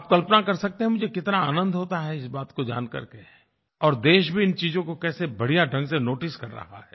आप कल्पना कर सकते हैं मुझे कितना आनंद होता है इस बात को जानकर के और देश भी इन चीज़ों को कैसे बढ़िया ढंग से नोटिस कर रहा है